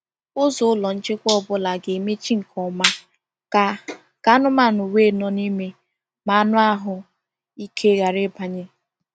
Ụzọ ụlọ nchekwa ọ bụla ga-emechi nke ọma ka ka anụmanụ wee nọ n’ime ma anụ ahụ ike ghara ịbanye.